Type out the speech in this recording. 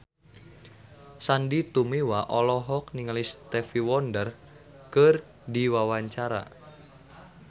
Sandy Tumiwa olohok ningali Stevie Wonder keur diwawancara